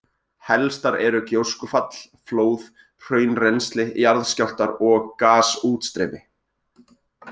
Helstar eru gjóskufall, flóð, hraunrennsli, jarðskjálftar og gasútstreymi.